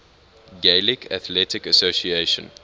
gaelic athletic association